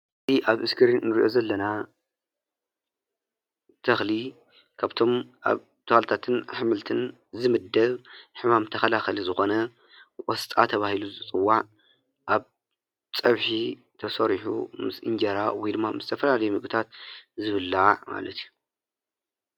እዚ ኣብ ስክሪን እንርእዮ ዘለና ተኽሊ ካብቶም ኣብ ተኽልታትን ኣሕምልትን ዝምደብ ሕማም ተኸላኻሊ ዝኾነ ቆስጣ ተባሂሉ ዝጽዋዕ ኣብ ፀብሒ ተሰሪሑ ምስ እንጀራ ወይድማ ምስ ዝተፈላለዩ ምግብታት ዝብላዕ ማለት እዩ።